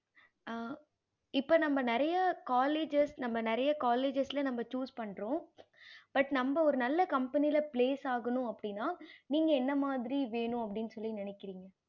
ஆஹ் இப்ப நம்ப நெறைய colleges நம்ப நெறைய colleges choose பன்றோம் but நம்ப ஒரு நல்ல company place ஆகணும் அப்படின்னா நீங்க என்ன மாதிரி வென்னும் அப்படின்னு சொல்லி நெனைக்குரிங்க